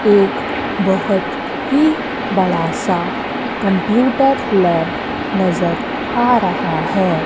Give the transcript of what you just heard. एक बहुत ही बड़ा सा कंप्यूटर लैब नजर आ रहा है।